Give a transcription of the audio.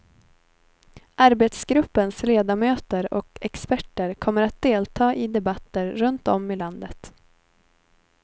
Arbetsgruppens ledamöter och experter kommer att delta i debatter runt om i landet.